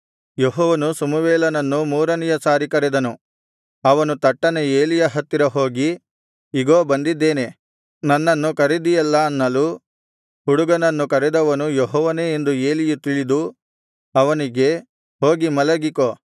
ಯೆಹೋವನು ಸಮುವೇಲನನ್ನು ಮೂರನೆಯ ಸಾರಿ ಕರೆದನು ಅವನು ತಟ್ಟನೆ ಏಲಿಯ ಹತ್ತಿರ ಹೋಗಿ ಇಗೋ ಬಂದಿದ್ದೇನೆ ನನ್ನನ್ನು ಕರೆದಿಯಲ್ಲಾ ಅನ್ನಲು ಹುಡುಗನನ್ನು ಕರೆದವನು ಯೆಹೋವನೇ ಎಂದು ಏಲಿಯು ತಿಳಿದು ಅವನಿಗೆ ಹೋಗಿ ಮಲಗಿಕೋ